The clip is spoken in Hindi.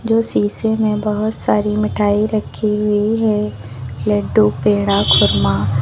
जो शीशे में बहुत सारी मिठाई रखी हुई है लड्डू पेड़ा खुरमा।